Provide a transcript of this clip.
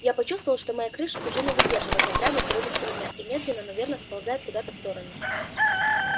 я почувствовала что моя крыша уже не выдерживает напряга сегодняшнего дня и медленно но верно сползает куда-то в сторону